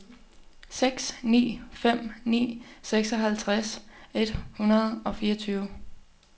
seks ni fem ni seksoghalvtreds et hundrede og fireogtyve